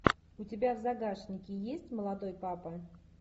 у тебя в загашнике есть молодой папа